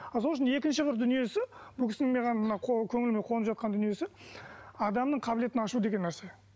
ал сол үшін екінші бір дүниесі бұл кісінің маған мына көңіліме қонып жатқан дүниесі адамның қабілетін ашу деген нәрсе